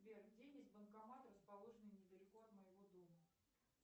сбер где есть банкомат расположенный недалеко от моего дома